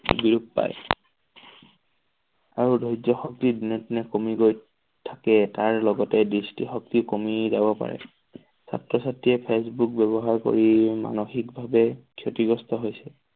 বিলুপ্ত পাই আৰু ধৰ্য্য শক্তি দিনক দিনে কমি গৈ থাকে। তাৰ লগতে দৃষ্টি শক্তি কমি যাব পাৰে। ছাত্ৰ-ছাত্ৰীয়ে ফেচবুক ব্যৱহাৰ কৰি মানসিক ভাৱে ক্ষতিগ্ৰস্ত হৈছে।